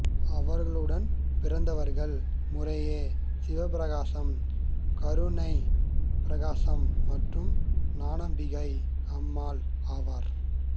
அவருடன் பிறந்தவர்கள் முறையே சிவப்பிரகாசர் கருணை பிரகாசர் மற்றும் ஞானாம்பிகை அம்மாள் ஆவர்